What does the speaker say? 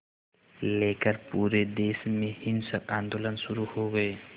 लेकर पूरे देश में हिंसक आंदोलन शुरू हो गए